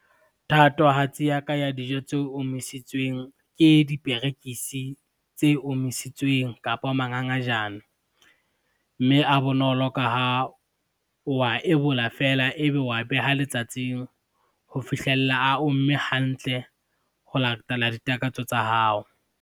Thatohatsi ya ka ya dijo tse omisitsweng, ke diperekisi tse omisitsweng kapo mangangajane, mme a bonolo ka ha o wa ebola fela ebe wa beha letsatsing ho fihlella a omme hantle ho latela ditakatso tsa hao.